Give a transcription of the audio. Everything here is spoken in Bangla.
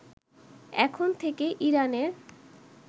এখন থেকে ইরানের